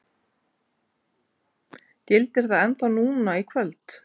Gildir það ennþá núna í kvöld?